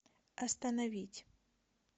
остановить